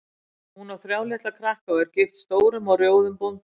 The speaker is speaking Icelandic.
Hún á þrjá litla krakka og er gift stórum og rjóðum bónda.